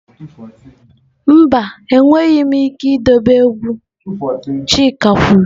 Mba, enweghị m ike idobe egwu chike kwuru.